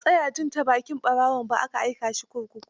Ba a tsaya bin ta bakin ɓarawaon ba, aka aika shi kurkuku.